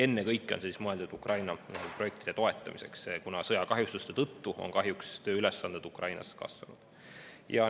Ennekõike on see mõeldud Ukraina projektide toetamiseks, kuna sõjakahjustuste tõttu on kahjuks tööülesannete Ukrainas kasvanud.